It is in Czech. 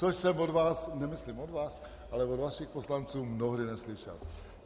Což jsem od vás - nemyslím od vás, ale od vašich poslanců - mnohdy neslyšel.